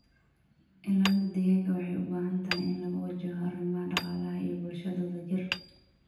Ilaalinta deegaanka waxay u baahan tahay in lagu wajaho arrimaha dhaqaalaha iyo bulshadu wadajir.